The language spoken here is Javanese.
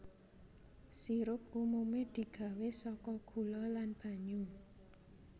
Sirup umumé digawé saka gula lan banyu